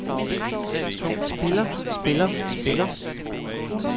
spiller spiller spiller